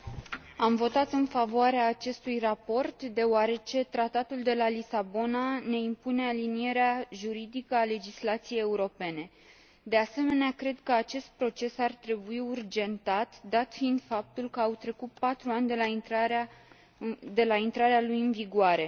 Doamnă președinte, am votat în favoarea acestui raport, deoarece Tratatul de la Lisabona ne impune alinierea juridică a legislației europene. De asemenea, cred că acest proces ar trebui urgentat, dat fiind faptul că au trecut patru ani de la intrarea lui în vigoare.